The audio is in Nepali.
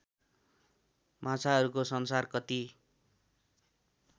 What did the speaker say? माछाहरूको संसार कति